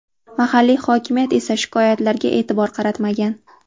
Mahalliy hokimiyat esa shikoyatlarga e’tibor qaratmagan.